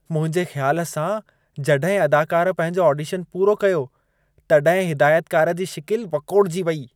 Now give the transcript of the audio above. मुंहिंजे ख़्याल सां जॾहिं अदाकार पंहिंजो ऑडिशन पूरो कयो, तॾहिं हिदायतकार जी शिकिल वकोड़िजी वई।